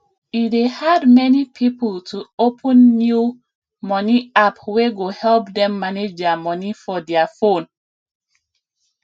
e dey hard many people to open new money app wey go help dem manage dia money for dia phone